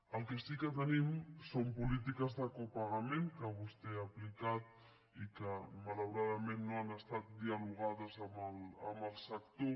el que sí que tenim són polítiques de copagament que vostè ha aplicat i que malauradament no han estat dialogades amb el sector